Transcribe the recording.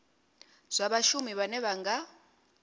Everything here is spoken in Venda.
zwa vhashumi vhane vha nga